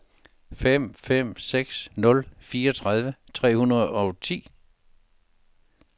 fem fem seks nul fireogtredive tre hundrede og ti